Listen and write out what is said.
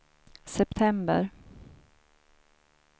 september